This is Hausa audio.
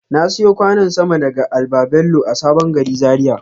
Na siyo kwanon sama daga al-babello a sabon gari Zaria.